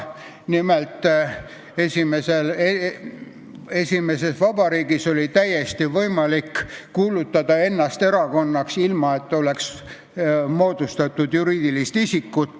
Nimelt, esimeses vabariigis, enne sõda, oli täiesti võimalik kuulutada ennast erakonnaks, ilma et oleks moodustatud juriidilist isikut.